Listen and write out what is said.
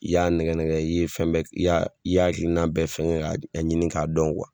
I y'a nɛgɛnɛgɛ i ye fɛn bɛɛ i y'a i y'a hakilina bɛɛ fɛngɛ k'a ɲini k'a dɔn